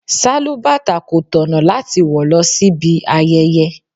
Sálúbàtà kò tọ̀nà láti wọ lọ síbi ayẹyẹ.